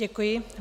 Děkuji.